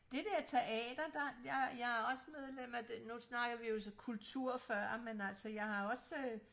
Dét der teater der jeg jeg er også medlem af nu snakkede vi jo så kultur før men altså jeg har også øh